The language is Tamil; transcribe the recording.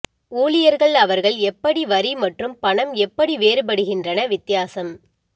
ஊழியர்கள் அவர்கள் எப்படி வரி மற்றும் பணம் எப்படி வேறுபடுகின்றன வித்தியாசம்